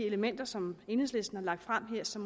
elementer som enhedslisten har lagt frem her er så